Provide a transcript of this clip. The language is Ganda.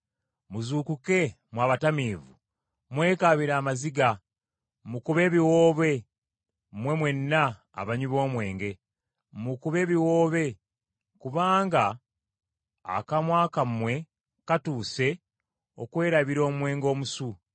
Muzuukuke, mmwe abatamiivu, mwekaabire amaziga; mukube ebiwoobe mmwe mwenna abanywi b’omwenge, mukube ebiwoobe kubanga akamwa kammwe katuuse okwerabira omwenge omusu.